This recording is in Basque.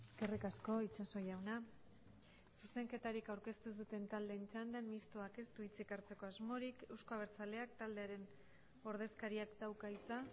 eskerrik asko itxaso jauna zuzenketarik aurkeztu ez duten taldeen txandan mistoak ez du hitzik hartzeko asmorik euzko abertzaleak taldearen ordezkariak dauka hitza